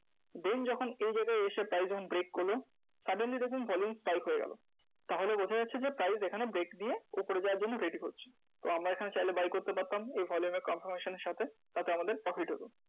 Then যখন এই জায়গায় এসে price যখন break করলো suddenly দেখুন volume spike হয়ে গেলো। তাহলে বোঝা যাচ্ছে যে price এখানে break দিয়ে উপরে যাওয়ার জন্য ready হচ্ছে। তো আমরা এখানে চাইলে buy করতে পারতাম এই volume এর confirmation এর সাথে, তাতে আমাদের profit হতো।